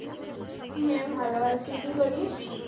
হ্যাঁ ভালো আছি কি করিস?